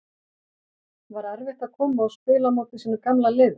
Var erfitt að koma og spila á móti sínu gamla liði?